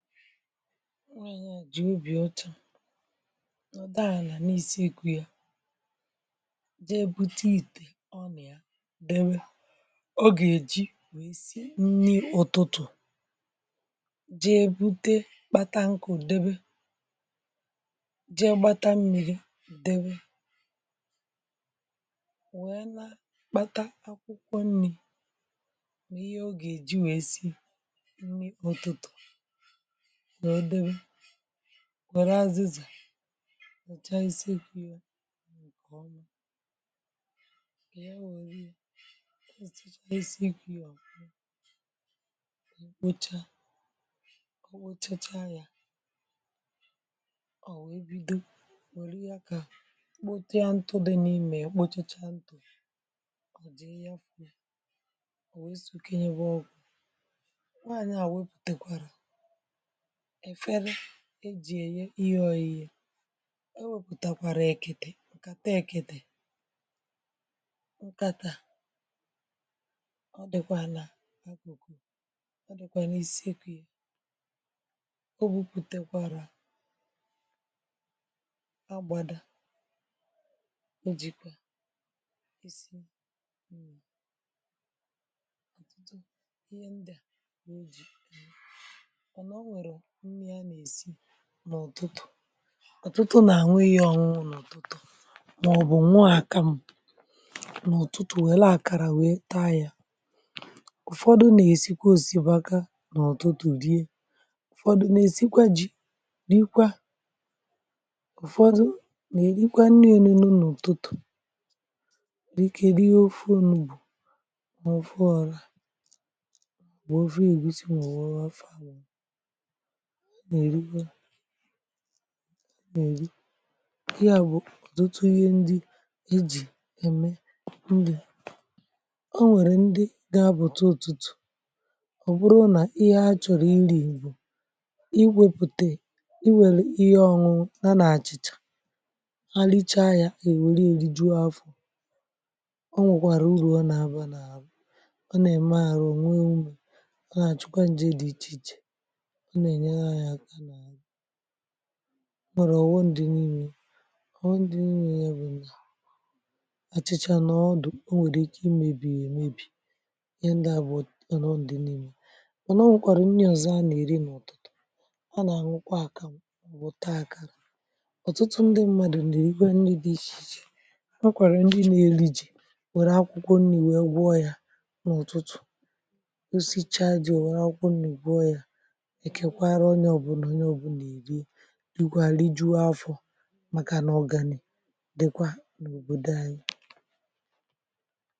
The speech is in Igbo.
Nwẹ̀mẹ̀ à jì obì ọ̀chọ̀ nọ̀, dàà nà n’isi ikù ya, jee bụta ìtè, um... ọ nà ya debe. Ogè e ji nwèe sie nni ụ̀tụtụ̀, jee bụ̇tẹ, kpata nkụ̇, debe, jee gbata mmìrì, debe, wee na kpata akwụkwọ nni̇ nà ihe o gèè ji wèe si nni ụtụtụ̀. Nà o debe, wère azịzà, wère chaịsị ikwu̇ ya, kà ọ nà ọ wère ya, kà ọ wee wete, wère ya, kà kpote ya ntụ dị n’imė ya. Kposhacha ntụ̇ ya, ọ̀ wee sụkẹnyẹwa ọ̀gwọ̀. Nwaanyẹ à wèpùtekwarà e ji eye ihe ọịyị, e wepụtakwara ekete ǹkè taa, um ekete ǹkàtà. Ọ dịkwa nà akụkụ, ọ dịkwa n’isi ekwu ya.(Um) Ọ bupụtakwara agbada, o jikwa isi. Hmm… ọtụtụ ihe ndị a wee ji mmịa n’èsi n’ụ̀tụtụ̀, ụ̀tụtụ nà-ànweghi ọ̀nwụnụ...n’ụ̀tụtụ̀, màọbụ̀ nwaàkem n’ụ̀tụtụ̀, wee laa, àkàrà wee taa ya. Ụ̀fọdụ̀ nà-èsi kwasịbaka n’ụ̀tụtụ̀ díkè, ụ̀fọdụ n’èsikwa ji n’ikwa, Ụ̀fọdụ nà-èrikwa nni elu nụ̇ n’ụ̀tụtụ̀. Díkè rie ọfù ǹụgbò n’ụfọ ọrà, bụ̀ òfù(um) ègwusi. M̀gbè okwu afa ànyị nà-èri, ihe à bụ̀ dota ihe ndị i jì ème ùli. O nwèrè ndị ga bụ̀ tụ... ụ̀tụtụ̀. Ọ̀ bụrụ nà ihe ha chọ̀rọ̀ iri̇ bụ̀, i wėpùtè, i wèlè ihe ọṅụṅụ nà nà-àchìchà, ha lichaa ya, ènwèrè ya, rijuo afọ̀. O um nwèkwàrà ụ̀rụ̀ ọ nà-abȧ n’àlà, ọ nà-ème àrụ̀, nwe mmu̇, ọ nà-àchụkwa ǹjė dị̇ ichè ichè. Nwèrè ọ̀wụ ndị nni dị ọ̀dụ̀, ọ nà-àṅụkwa àkàmụkwa. Ọ̀tụtụ, ọ̀tụtụ ndị mmadụ̀ nà-èri. Ndị dị̇ ishì ishè e si, igwàli jụọ afọ̀, màkà nà ọ̀gani̇ dịkwa n’òbòdò anyị.